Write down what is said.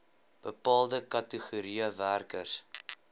bepaalde kategorieë werkers